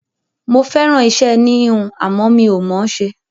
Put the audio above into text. Mo fẹ́ràn iṣẹ́ ẹní-híhun, àmọ́ mi ò mọ̀ ọ́n ṣe.